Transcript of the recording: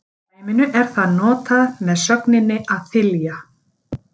Í dæminu er það notað með sögninni að þylja.